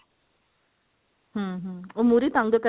ਹਮ ਹਮ ਉਹ ਮੁਹਰੀ ਤੰਗ